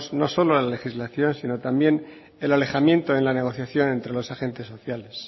no solo la legislación sino también el alejamiento en la negociación entre los agentes sociales